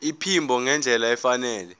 iphimbo ngendlela efanele